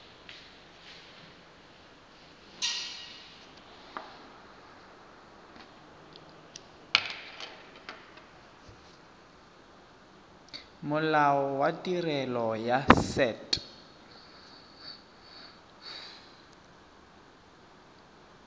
molao wa tirelo ya set